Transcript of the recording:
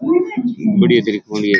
बढ़िया तरीके हु ये --